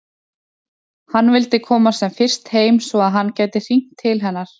Hann vildi komast sem fyrst heim svo að hann gæti hringt til hennar.